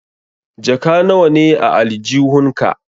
Jaka nawa ne a aljihun ka?